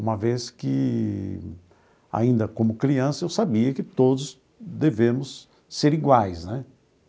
Uma vez que, ainda como criança, eu sabia que todos devemos ser iguais né.